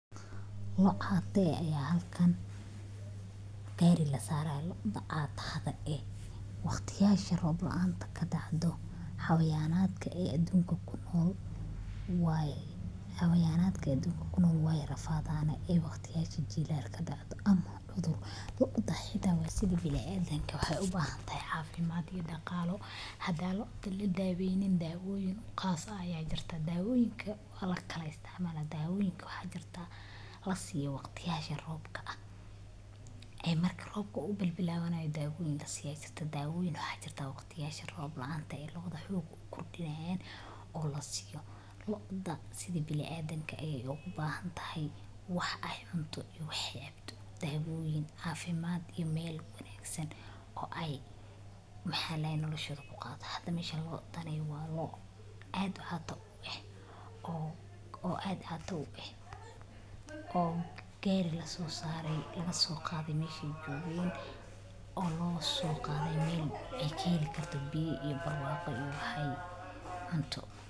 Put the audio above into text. Loo cata ah ayaa halkan gaari la saarayaa. Loo dha cata-yasha ah waqtiyada roob la’aanta ka dhacdo xayawaannada adduunka ku nool wey rafadaan. Na iyo waqtiyada jilaalka ku dhacdo ama cudur. Loo dha sida bini’aadamka waxay u baahan tahay caafimaad iyo dhaqaalo. Haddii loo adan la daweynin, daawooyin gaar ah ayaa jirta. Daawooyinka waa la kala isticmaalaa. Daawooyin waxaa jira la siyaa waqtiyada roobka ah ee marka roobka uu bilow yahay, daawooyin la siyaa ayaa jirta. Daawooyin waxaa jira waqtiga roob la’aanta oo loo adha xoog loo kordhinayo oo la siiyo loo dha. Sidii bini’aadmkii ayay ugu baahan tahay wax ay cunto iyo wax ay cabto, daawooyin, caafimaad iyo meel wanaagsan oo ay nolosha ku qaadato. Hadda meeshaan loo dhan waa loo aad cata u ah oo gaari la soo saaray, laga soo qaaday meeshii ay joogeen oo loo soo qaaday meel ay ka heli karto biyo iyo barwaaqo iyo wax ay cunto.